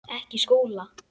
Ekki Skúla!